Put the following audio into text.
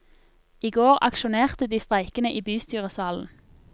I går aksjonerte de streikende i bystyresalen.